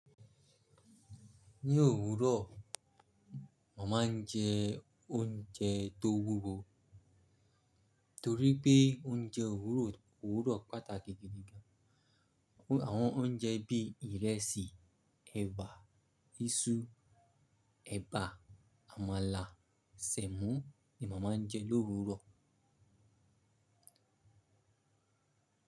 Ní òwúrọ̀, mo má ń jẹ oúnjẹ tó wúwo torí pé oúnjẹ òwúrọ̀ òwúrọ̀ pàtàkì gidi gan. Àwọn oúnjẹ bí ìrẹsì, ẹ̀bà, iṣu, ẹ̀bà, àmàlà, sẹ̀mọ́ ni màmá ń jẹ l'òwúrọ̀.